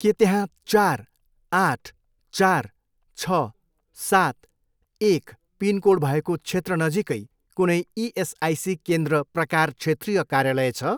के त्यहाँ चार, आठ, चार, छ, सात, एक पिनकोड भएको क्षेत्र नजिकै कुनै इएसआइसी केन्द्र प्रकार क्षेत्रीय कार्यालय छ?